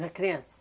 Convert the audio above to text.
Na criança?